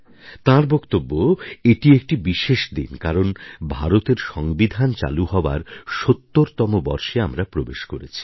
তাঁর বক্তব্য এটি একটি বিশেষ দিন কারণ ভারতের সংবিধান চালু হওয়ার সত্তরতম বর্ষে আমরা প্রবেশ করছি